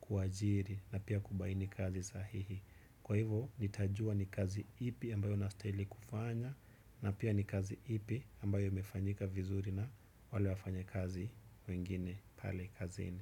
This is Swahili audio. kuajiri na pia kubaini kazi sahihi. Kwa hivo nitajua ni kazi ipi ambayo nastahili kufanya na pia ni kazi ipi ambayo imefanyika vizuri na wale wafanyakazi wengine pale kazini.